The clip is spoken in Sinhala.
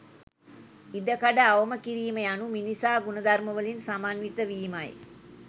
ඉඩකඩ අවම කිරීම යනු මිනිසා ගුණධර්මවලින් සමන්විත වීමයි